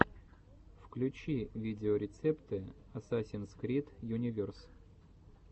включи видеорецепты асасинс крид юниверс